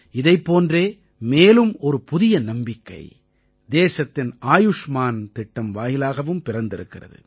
இதைப் போன்றே மேலும் ஒரு புதிய நம்பிக்கை தேசத்தின் ஆயுஷ்மான் திட்டம் வாயிலாகவும் பிறந்திருக்கிறது